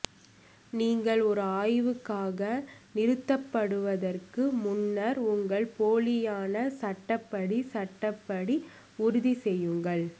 நீங்கள் ஒரு ஆய்வுக்காக நிறுத்தப்படுவதற்கு முன்னர் உங்கள் போலியான சட்டப்படி சட்டப்படி உறுதி செய்யுங்கள்